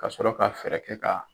Ka sɔrɔ ka fɛɛrɛ kɛ ka